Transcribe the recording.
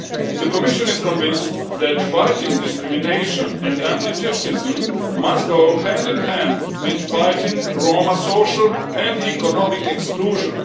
The Commission is convinced that fighting discrimination and anti Gypsyism must go hand in hand with fighting Roma social and economic exclusion.